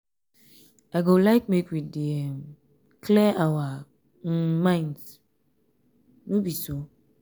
i go like make we dey um clear our um minds no um be so?